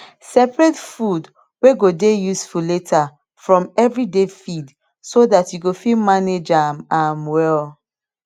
seperate food way go dey useful later from everyday feed so dat you go fit manage am am well